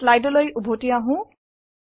স্লাইডলৈ উভতি আহো